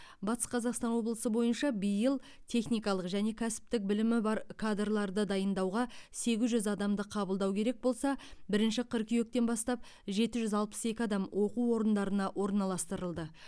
батыс қазақстан облысы бойынша биыл техникалық және кәсіптік білімі бар кадрларды дайындауға сегіз жүз адамды қабылдау керек болса бірінші қыркүйектен бастап жеті жүз алпыс екі адам оқу орындарына орналастырылды